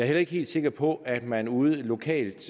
heller ikke helt sikker på at man ude lokalt